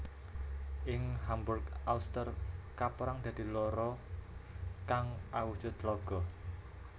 Ing Hamburg Alster kapérang dadi loro kang awujud tlaga